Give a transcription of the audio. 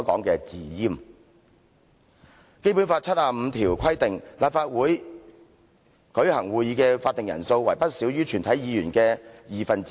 《基本法》第七十五條規定，立法會舉行會議的法定人數為不少於全體議員的二分之一。